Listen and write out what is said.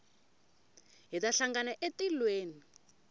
hi ta hlangana etilweni